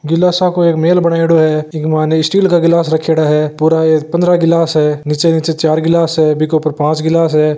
गिलासा को एक मेल बनायेडो है इक मायने स्टील का गिलास रखेड़ा है पूरा ये पंद्रह गिलास है नीचे ही नीचे चार गिलास है बिके उपर पांच गिलास है।